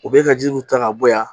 U bɛ ka ji nun ta ka bɔ yan